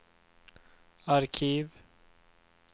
arkiv